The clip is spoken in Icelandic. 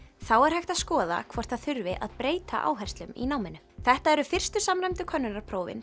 þá er hægt að skoða hvort það þurfi að breyta áherslum í náminu þetta eru fyrstu samræmdu könnunarprófin